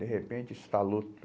De repente, estalou